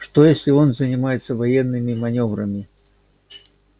что если он занимается военными манёврами